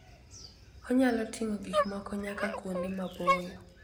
Onyalo ting'o gik moko nyaka kuonde maboyo.